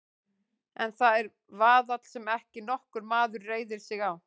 En það er vaðall sem ekki nokkur maður reiðir sig á.